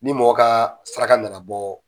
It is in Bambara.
Ni mɔgɔ ka saraka na na bɔ